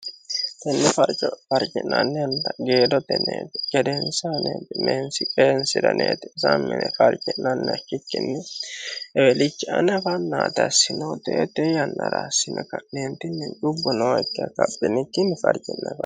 tenni frofarji'nanninna geedo teneeti gedeensaaneeti meensi qeensiraneeti zamine farji'nannih khikkinni ewelichi anafannaata sinoteete yannarasime ka'neentinni cubbu noo ikke kaphinikkinni farji'naaa